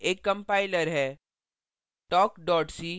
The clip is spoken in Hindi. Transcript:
gcc एक compiler है